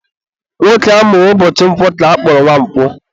Nwoke amụrụ ụbọchị Nkwọ ka akpọrọ Nwankwo.